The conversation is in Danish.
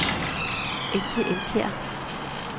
Else Elkjær